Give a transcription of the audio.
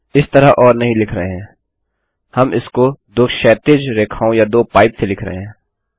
अब हम यह इस तरह ओर नहीं लिख रहे हैं हम इसको दो क्षैतिज रेखाओं या दो पाइप से लिख रहे हैं